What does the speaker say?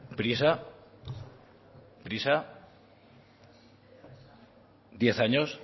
prisa prisa diez años